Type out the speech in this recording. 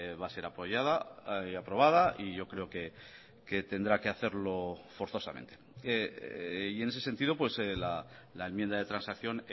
va a ser apoyada y aprobada y yo creo que tendrá que hacerlo forzosamente y en ese sentido la enmienda de transacción